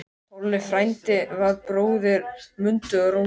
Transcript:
Tolli frændi var bróðir Mundu og Rósu.